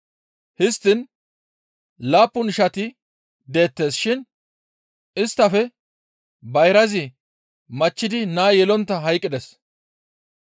Histtiin laappun ishati deettes shin isttafe bayrazi machchidi naa yelontta hayqqides.